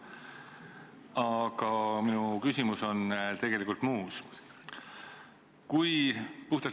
Aga minu küsimus on tegelikult muu kohta.